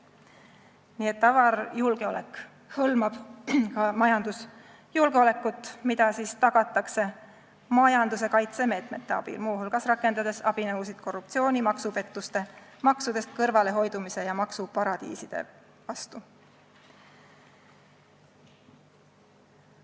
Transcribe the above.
" Nii et avar julgeolek hõlmab ka majandusjulgeolekut, mida tagatakse majanduse kaitsemeetmete abil, muu hulgas rakendades abinõusid korruptsiooni, maksupettuste, maksudest kõrvalehoidmise ja maksuparadiiside vastu.